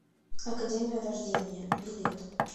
академия вождения билет